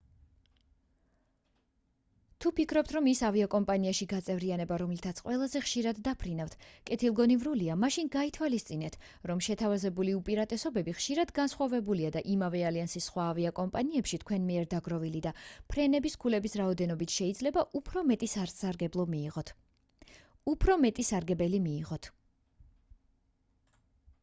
თუ ფიქრობთ რომ იმ ავიაკომპანიაში გაწევრიანება რომლითაც ყველაზე ხშირად დაფრინავთ კეთილგონივრულია მაშინ გაითვალისწინეთ რომ შეთავაზებული უპირატესობები ხშირად განსხვავებულია და იმავე ალიანსის სხვა ავიაკომპანიაში თქვენ მიერ დაგროვილი და ფრენების ქულების რაოდენობით შეიძლება უფრო მეტი სარგებელი მიიღოთ